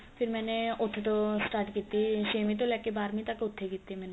ਫ਼ਿਰ ਮੈਨੇ ਉੱਥੇ ਤੋਂ start ਕੀਤੀ ਛੇਵੀ ਤੋਂ ਲੈ ਕੇ ਬਾਰਵੀ ਤੱਕ ਉੱਥੇ ਕੀਤੀ ਮੈਨੇ